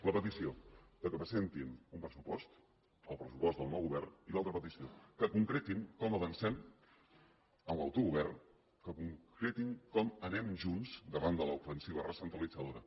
la petició que presentin un pressupost el pressupost del nou govern i l’altra petició que concretin com avancem en l’autogovern que concretin com anem junts davant de l’ofensiva recentralitzadora